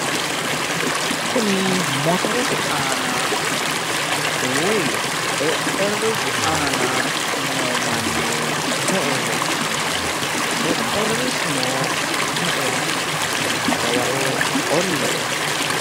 Kuni motorete aana woy xexxerrisu aana noo manni me"eho? xexxerrisuno me"eho? dawaro qolle"e?